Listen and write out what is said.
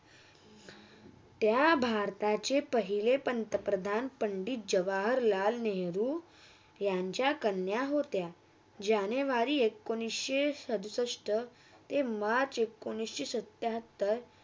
त्या भारताचे पहिले पंतप्रधान पंडित जवाहरलाल नेहरूयांच्या कन्या होता जानेवारी एकोणीस चौसष्ट ते मार्च एकोणीस सत्याहत्तर